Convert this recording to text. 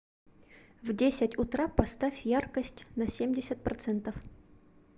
в десять утра поставь яркость на семьдесят процентов